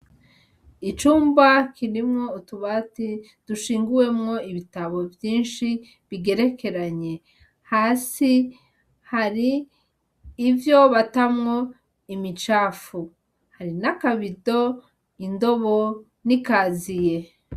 Icumba kirimwo utubati, dushinguwemwo ibitabo vyinshi, bigerekeranye. Hasi, hari ivyo batamwo imicafu, hari n'akabido, indobo n'ikaziye.